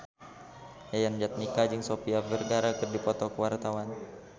Yayan Jatnika jeung Sofia Vergara keur dipoto ku wartawan